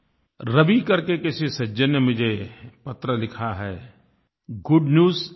रवि करके किसी सज्जन ने मुझे पत्र लिखा है गुड न्यूज एवरी डे